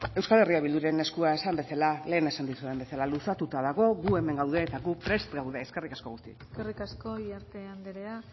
euskal herria bilduren eskua lehen esan dizudan bezala luzatuta dago gu hemen gaude eta gu prest gaude eskerrik asko guztioi eskerrik asko iriarte anderea